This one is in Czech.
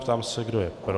Ptám se, kdo je pro.